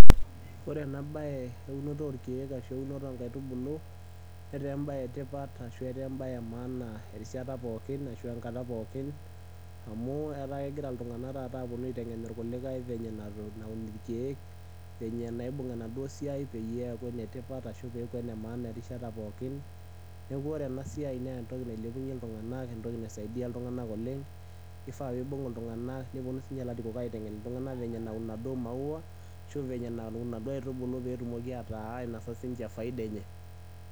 ore ena bae eunoto oorkeek ashu eunoto oo nkaitubulu. netaa ebae etipat ashu etaa ebae emaana erishata pookin. amu etaa kegira iltungank taata aitengen irkulikae venye naun irkeek venye naibung enaduoo siiai peyie eku enetipat erishata pookin. neeku ore ena siiai naa entoki nailepunye iltungank nibung iltungank oleng. kifaa nibung iltunganak nepuonu sii ninche ilarikok aitengen iltunganak venye naun inaduoo maawa. ashu venye naun inaduoo aitubulu pee etumoki sii ninche ainosa faida enye.